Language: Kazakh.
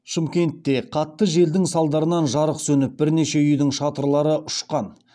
шымкентте қатты желдің салдарынан жарық сөніп бірнеше үйдің шатырлары ұшқан